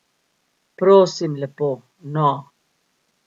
Prosim lepo, no!